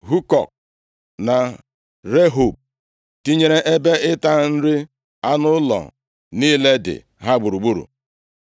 Hukọk na Rehob, tinyere ebe ịta nri anụ ụlọ niile dị ha gburugburu.